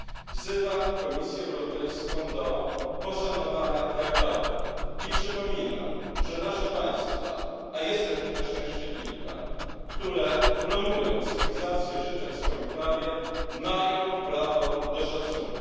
Wzywam Komisję Europejską do poszanowania traktatów i przypominam, że nasze państwa a jest takich na szczęście kilka które promując cywilizację życia w swoim prawie, mają prawo do szacunku.